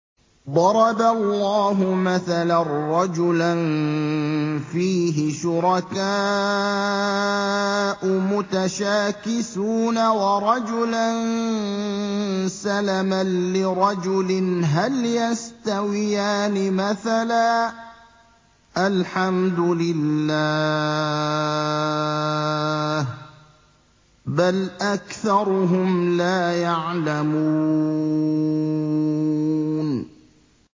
ضَرَبَ اللَّهُ مَثَلًا رَّجُلًا فِيهِ شُرَكَاءُ مُتَشَاكِسُونَ وَرَجُلًا سَلَمًا لِّرَجُلٍ هَلْ يَسْتَوِيَانِ مَثَلًا ۚ الْحَمْدُ لِلَّهِ ۚ بَلْ أَكْثَرُهُمْ لَا يَعْلَمُونَ